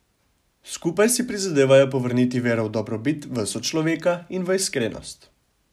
Skupaj si prizadevajo povrniti vero v dobrobit, v sočloveka in v iskrenost.